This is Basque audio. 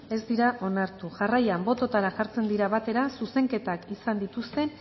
ez dira onartu jarraian bototara jartzen dira batera zuzenketak izan dituzten